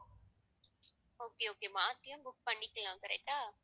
okay okay மாத்தியும் book பண்ணிக்கலாம் correct ஆ